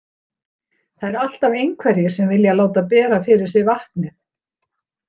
Það eru alltaf einhverjir sem vilja láta bera fyrir sig vatnið.